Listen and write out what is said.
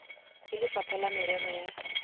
ke lefapha la merero ya